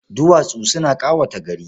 Duwatsu suna ƙawata gari.